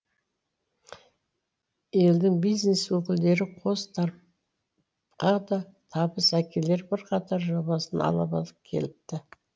елдің бизнес өкілдері қос тарп қа да табыс әкелер бірқатар жобасын ала барып келіпті